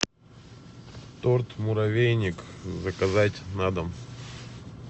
торт муравейник заказать на дом